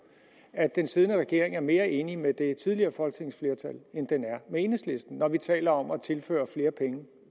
at den siddende regering er mere enig med det tidligere folketingsflertal end den er med enhedslisten altså når vi taler om at tilføre flere penge